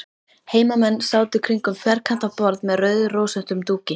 Heimamenn sátu kringum ferkantað borð með rauðrósóttum dúki.